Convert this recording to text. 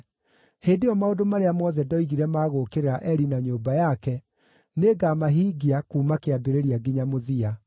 Hĩndĩ ĩyo maũndũ marĩa mothe ndoigire ma gũũkĩrĩra Eli na nyũmba yake nĩngamahingia kuuma kĩambĩrĩria nginya mũthia.